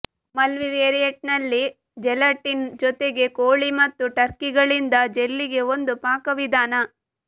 ಮಲ್ಟಿವೇರಿಯೇಟ್ನಲ್ಲಿ gelatin ಜೊತೆಗೆ ಕೋಳಿ ಮತ್ತು ಟರ್ಕಿಗಳಿಂದ ಜೆಲ್ಲಿಗೆ ಒಂದು ಪಾಕವಿಧಾನ